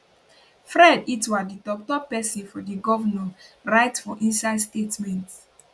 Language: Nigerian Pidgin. fred itua di toktok pesin for di govnor write for inside statement